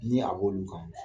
Ni a b'olu kanw